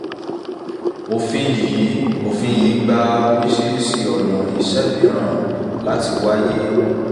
òfin yìí òfin yìí gba oríṣiríṣi ona iṣẹ́ mìíràn láti wáyé